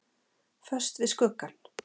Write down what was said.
Föst við skuggann.